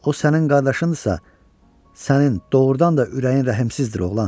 O sənin qardaşındırsa, sənin doğurdan da ürəyin rəhmsizdir, oğlan.